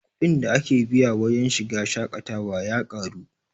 kuɗin da ake biya wajen shiga shaƙatawa ya ƙaru